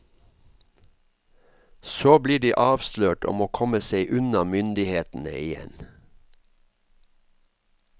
Så blir de avslørt og må komme seg unna myndighetene igjen.